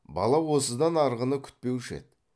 бала осыдан арғыны күтпеуші еді